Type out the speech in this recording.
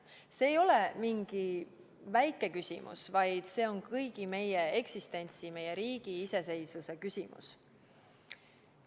See ei ole mingi väike küsimus, vaid see on kõigi meie eksistentsi, meie riigi iseseisvuse küsimus.